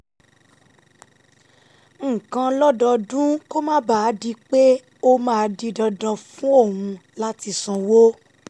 nǹkan lọ́dọọdún kó má bàa di pé ó máa di dandan fún òun láti sanwó